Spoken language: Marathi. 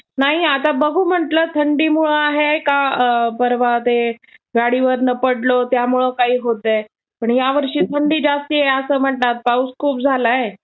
नाही आता बघू म्हटलं, थंडीमुळं आहे का परवा ते गाडीवरुन पडलो त्यामुळं होतंय, पण ह्यावर्षी थन्डी जास्त आहे असं म्हणतात, पाऊस खूप झालाय